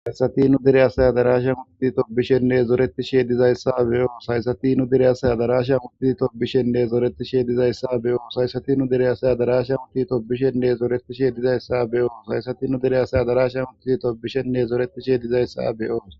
Haysatinu dere asaya darasha muti tobishenne zoreti she dizayssa beyoo saysatinu dere asaya darasha mutti tobishenne zoretisheedizayssa beyoo saysatinu dere asaya darasha mutti tobishenne zoretishe dizayssa beyo haysatinu dere asaya darasha mutti tobishenne zoreti sheedizayssa beyoos.